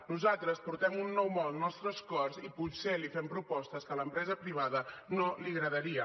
nosaltres portem un nou món als nostres cors i potser fem propostes que a l’empresa privada no li agradarien